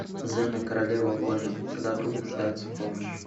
зена королева воинов когда друг нуждается в помощи